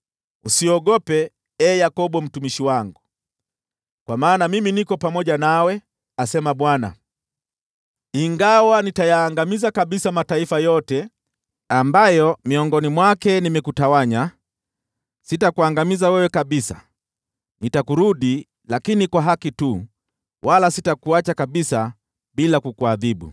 Usiogope, ee Yakobo mtumishi wangu, kwa maana mimi niko pamoja nawe,” asema Bwana . “Ingawa nitayaangamiza kabisa mataifa yote ambayo miongoni mwake nimekutawanya, sitakuangamiza wewe kabisa. Nitakurudi, lakini kwa haki tu, wala sitakuacha kabisa bila kukuadhibu.”